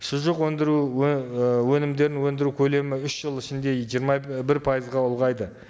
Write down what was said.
шұжық өндіруі ііі өнімдерін өндіру көлемі үш жыл ішінде жиырма і бір пайызға ұлғайды